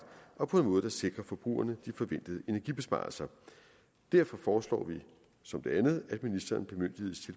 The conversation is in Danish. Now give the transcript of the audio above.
og på en måde der sikrer forbrugerne de forventede energibesparelser derfor foreslår vi som det andet at ministeren bemyndiges